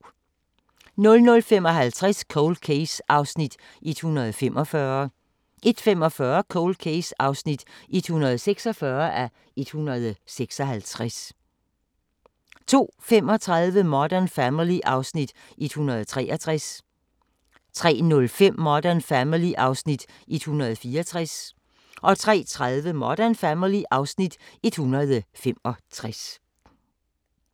00:55: Cold Case (145:156) 01:45: Cold Case (146:156) 02:35: Modern Family (Afs. 163) 03:05: Modern Family (Afs. 164) 03:30: Modern Family (Afs. 165)